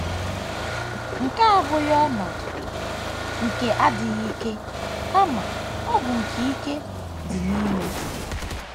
Nke a abụghị ọnọdụ nke adịghị ike kama ọ bụ nke ike dị n’ime.